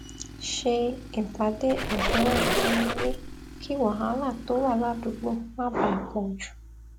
ṣe ìpàdé àdúrà nínú ilé kí wàhálà tó wà ládùúgbò má bàa pò jù